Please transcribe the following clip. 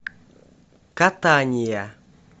катания